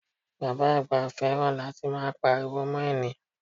Bàbá àgbà fẹ́ràn láti máa Pariwo mọ́ ènìyàn